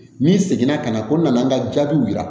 N'i seginna ka na ko n nana n ka jaabiw yira